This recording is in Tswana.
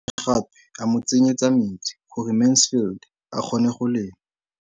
O ne gape a mo tsenyetsa metsi gore Mansfield a kgone go lema.